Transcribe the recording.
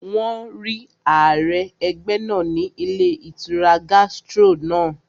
Wọ́n rí ààrẹ ẹgbẹ́ náà ní ilé ìtura Gastro náà